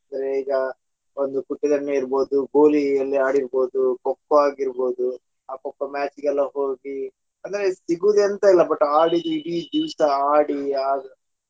ಅಂದ್ರೆ ಈಗ ಒಂದು ಕುಟ್ಟಿ ದೊಣ್ಣೆ ಇರಬೋದು ಗೋಲಿಯಲ್ಲಿ ಆಡಿರ್ಬೋದು Kho kho ಆಗಿರಬೋದು ಆ Kho kho match ಗೆಲ್ಲ ಹೋಗಿ ಅಂದ್ರೆ ಸಿಗುವುದ ಎಂತ ಇಲ್ಲ ಆಡಿ ಇಡೀ ದಿವಸ ಆಡಿ .